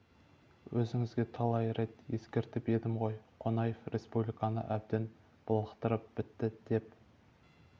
өзіңізге талай рет ескертіп едім ғой қонаев республиканы әбден былықтырып бітті деп